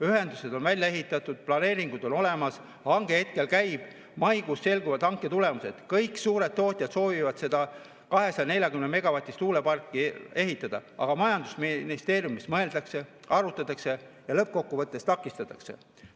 Ühendused on välja ehitatud, planeeringud on olemas, hange hetkel käib, maikuus selguvad hanke tulemused, kõik suured tootjad soovivad seda 240‑megavatist tuuleparki ehitada, aga majandusministeeriumis mõeldakse, arutatakse ja lõppkokkuvõttes takistatakse.